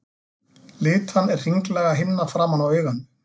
Litan er hringlaga himna framan á auganu.